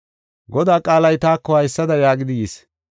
Godaa qaalay taako haysada yaagidi yis;